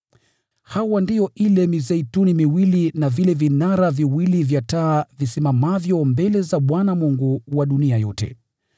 Hawa ndio ile mizeituni miwili na vile vinara viwili vya taa visimamavyo mbele za Bwana Mungu wa dunia yote.